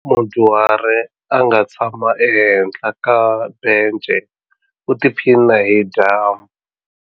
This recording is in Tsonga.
Mudyuhari a nga tshama ehenhla ka bence u tiphina hi dyambu.